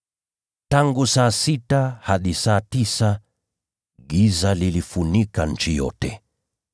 Tangu saa sita hadi saa tisa giza liliifunika nchi yote.